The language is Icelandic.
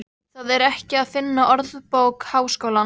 Það er ekki að finna í Orðabók Háskólans.